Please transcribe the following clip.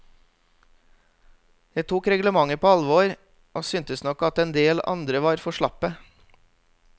Jeg tok reglementet på alvor, og syntes nok at en del andre var for slappe.